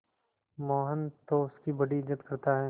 मोहन तो उसकी बड़ी इज्जत करता है